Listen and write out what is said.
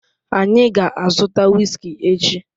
Anyị ga-azụta whiskey echi